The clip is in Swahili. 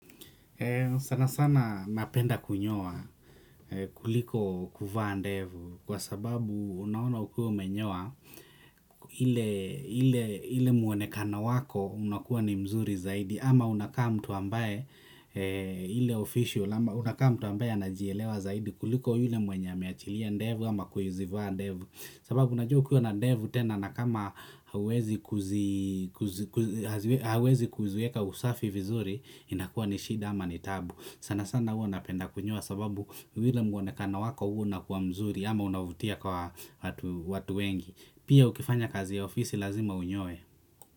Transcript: Sana sana napenda kunyoa kuliko kuvaa ndevu kwa sababu unaona ukiwa umenyoa ile muonekano wako unakuwa ni mzuri zaidi ama unakaa mtu ambaye ili ofiscial llama unakaa mtu ambaye anajielewa zaidi kuliko yule mwenye ameachilia ndevu ama kuzivaa ndevu sababu unajua ukiwa na ndevu tena na kama hauwezi kuziweka usafi vizuri inakuwa ni shida ama ni taabu sana sana huwa napenda kunyoa sababu vile mwonekano wako huu unakuwa mzuri ama unavutia kwa watu wengi pia ukifanya kazi ya ofisi lazima unyoe.